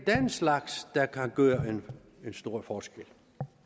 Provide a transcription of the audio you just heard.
slags der kan gøre en stor forskel